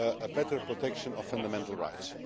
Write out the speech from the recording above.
better protection of fundamental rights.